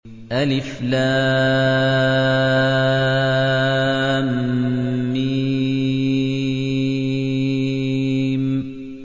الم